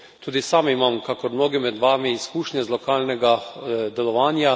Tudi sam imam, kakor mnogi med vami, izkušnje z lokalnega delovanja.